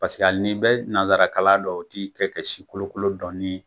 Paseke hali n'i bɛ nanzarakalan dɔn o ti kɛ kɛ si kolokolo dɔɔni